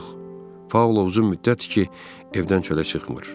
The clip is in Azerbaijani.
Yox, Paulo uzun müddətdir ki, evdən çölə çıxmır.